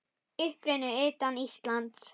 Uppruni utan Íslands